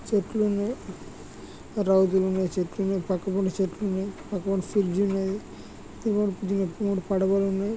చెట్లున్నాయి రోడ్డులున్నాయి చెట్టు ఉన్నాయి పక్కపోనటి చెట్లు ఉన్నాయి. అక్కడ ఒక బ్రిడ్జి ఉన్నది అక్కడ మూడు పదాలు ఉన్నాయి.